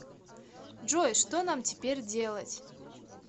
джой что нам теперь делать